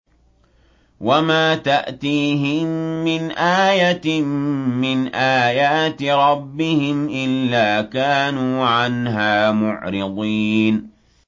وَمَا تَأْتِيهِم مِّنْ آيَةٍ مِّنْ آيَاتِ رَبِّهِمْ إِلَّا كَانُوا عَنْهَا مُعْرِضِينَ